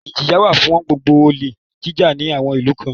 Ìjìyà wá fún gbogbo olè jíjà ní àwọn ìlú kan